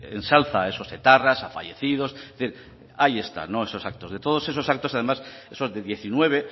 se ensalza a esos etarras a fallecidos es decir ahí están esos actos de todos esos actos del dos mil diecinueve